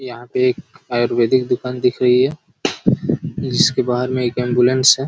यहाँ पे एक आयुर्वेदिक दुकान दिख रही है जिसके बाहर में एक एम्बुलेंस हैं।